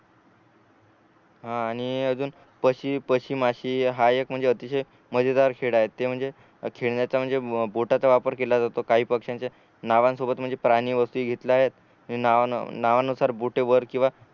हा आणि अजून पशी पशी माशी हा एक म्हणजे अतिशय मजेदार खेळ आहेत ते म्हणजे खेळनाच्या म्हणजे बोटाचा वापर केला जातो काही पक्ष्यांच्या नावासोबत म्हणजे प्राणी वस्तू नावा नावानुसार बोटेवर किंवा